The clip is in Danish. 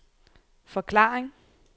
forklaring